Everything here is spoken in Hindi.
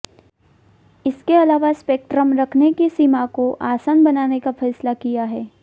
इसके अलावा स्पेक्ट्रम रखने की सीमा को आसान बनाने का फैसला किया है